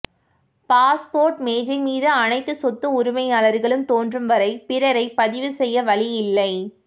passport மேசை மீது அனைத்து சொத்து உரிமையாளர்களும் தோன்றும் வரை பிறரை பதிவு செய்ய வழி இல்லை